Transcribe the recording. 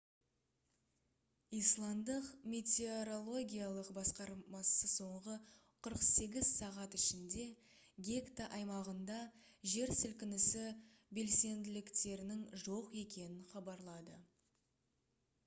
исландтық метеорологиялық басқармасы соңғы 48 сағат ішінде гекта аймағында жер сілкінісі белсенділіктерінің жоқ екенін хабарлады